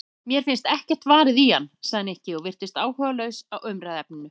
Mér finnst ekkert varið í hana sagði Nikki og virtist áhugalaus á umræðuefninu.